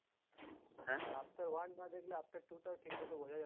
Avatar one না দেখলে Avatar two টাও ঠিক মতো বোঝা যাবেনা।